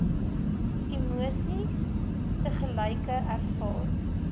emosies tegelyk ervaar